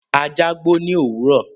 Ajá gbó ní òwúrọ̀.